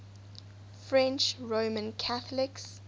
french roman catholics